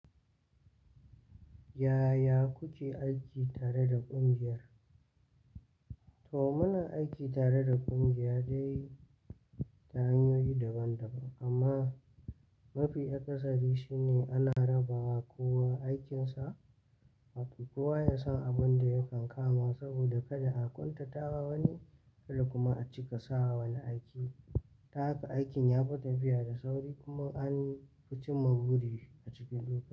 Yaya kuke aiki tare da ƙungiya? To muna aiki tare da ƙungiya dai ta hanyoyi daban-daban amma mafi akasari shine ana rabawa kowa aikinsa, kowa ya san abin da yakan kama saboda kada a ƙuntata wani bal kuma a cika sawa wani aiki. Ta haka aikin ya fi tafiya da sauri kuma an fi cin magudi a ciki lokaci.